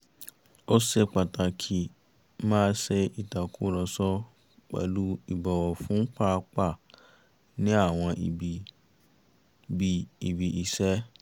ó ṣe pàtàkì máa ṣe ìtàkùrọ̀sọ pẹ̀lú ìbọ̀wọ̀ fún pàápàá ní àwọn ibi bí ibi-iṣẹ́